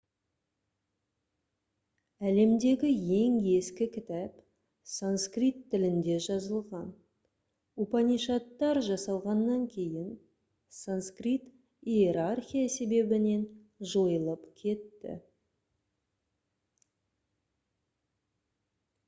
әлемдегі ең ескі кітап санскрит тілінде жазылған упанишадтар жасалғаннан кейін санскрит иерархия себебінен жойылып кетті